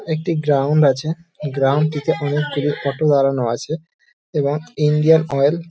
একটি গ্রাউন্ড আছে গ্রাউন্ড -টিতে অনেকগুলি অটো দাঁড়ানো আছে এবং ইন্ডিয়ান অয়েল --